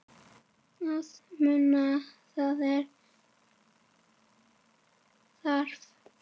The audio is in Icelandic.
Að muna það sem þarf